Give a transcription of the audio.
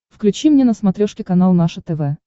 включи мне на смотрешке канал наше тв